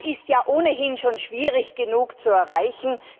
Das ist ja ohnehin schon schwierig genug zu erreichen.